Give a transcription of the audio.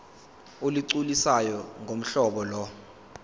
olugculisayo ngohlobo lo